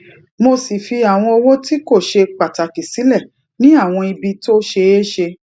mo sì fi àwọn owó tí kò ṣe pàtàkì sílè ni awon ibi tó ṣeé ṣe